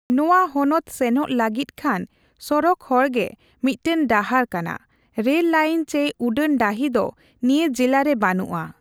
ᱱᱚᱣᱟ ᱦᱚᱱᱚᱛ ᱥᱮᱚᱜ ᱞᱟᱹᱜᱤᱫ ᱠᱷᱟᱱ ᱥᱚᱲᱚᱠ ᱦᱚᱮᱨ ᱜᱮ ᱢᱤᱫᱴᱟᱝ ᱰᱟᱟᱦᱨ ᱠᱟᱱᱟ ᱾ ᱨᱮᱞ ᱞᱟᱹᱭᱤᱱ ᱪᱮ ᱩᱰᱟᱹᱱ ᱰᱟᱹᱦᱤ ᱫᱚ ᱱᱤᱣᱟ ᱡᱤᱞᱟᱹ ᱨᱮ ᱵᱟᱹᱱᱩᱜ ᱟ ᱾